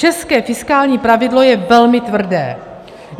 České fiskální pravidlo je velmi tvrdé.